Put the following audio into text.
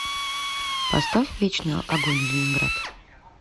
поставь вечный огонь ленинград